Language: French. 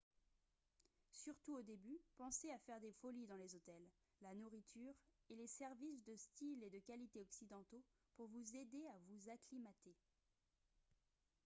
surtout au début pensez à faire des folies dans les hôtels la nourriture et les services de style et de qualité occidentaux pour vous aider à vous acclimater